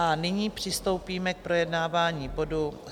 A nyní přistoupíme k projednávání bodu